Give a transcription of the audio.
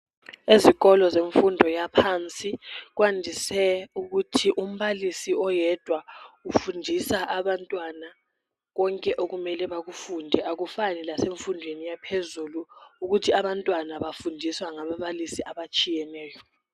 ezikolo zemfundo yaphansi kwandise ukuthi umbalisi oyedwa ufundisa abantwana konke oikumele bakufunde akufani lasemfundweni yaphezulu ukuthi abantwana bafundiswa ngababalisi abatshiyeneyo